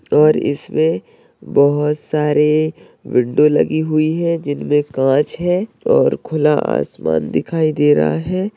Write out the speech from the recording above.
और इसमें बहोत सारे विंडो लगी हुई है जिनमें कांच है और खुला आसमान दिखाई दे रहा है।